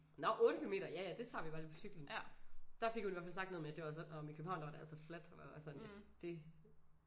Nåh 8 kilometer ja ja det tager vi bare lige på cyklen. Der fik hun i hvert fald sagt noget med det var så nåh men i Købehavn der var det altså fladt hvor jeg var sådan det